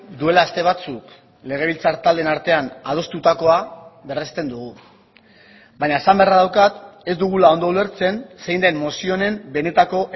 duela aste batzuk legebiltzar taldeen artean adostutakoa berresten dugu baina esan beharra daukat ez dugula ondo ulertzen zein den mozio honen benetako